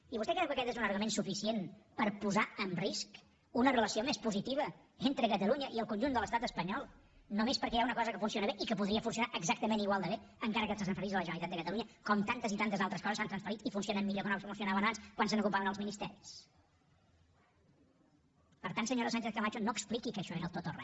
i vostè creu que aquest és un argument suficient per posar en risc una relació més positiva entre catalunya i el conjunt de l’estat espanyol només perquè hi ha una cosa que funciona bé i que podria funcionar exactament igual de bé encara que es transferís a la generalitat de catalunya com tantes i tantes altres coses s’han transferit i funcionen millor que no funcionaven abans quan se n’ocupaven els ministeris per tant senyora sánchez camacho no expliqui que això era el tot o re